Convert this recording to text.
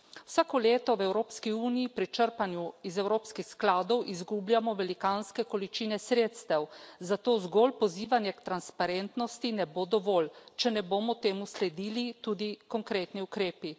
Vsako leto v Evropski uniji pri črpanju iz evropskih skladov izgubljamo velikanske količine sredstev, zato zgolj pozivanje k transparentnosti ne bo dovolj, če ne bodo temu sledili tudi konkretni ukrepi.